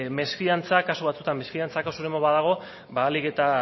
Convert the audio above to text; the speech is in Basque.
mesfidantza kasu batzuetan mesfidantza kasurik badago ahalik eta